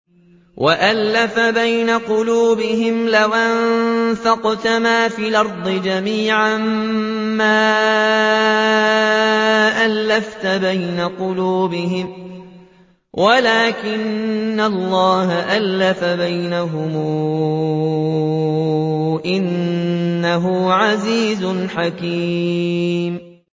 وَأَلَّفَ بَيْنَ قُلُوبِهِمْ ۚ لَوْ أَنفَقْتَ مَا فِي الْأَرْضِ جَمِيعًا مَّا أَلَّفْتَ بَيْنَ قُلُوبِهِمْ وَلَٰكِنَّ اللَّهَ أَلَّفَ بَيْنَهُمْ ۚ إِنَّهُ عَزِيزٌ حَكِيمٌ